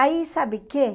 Aí sabe quê?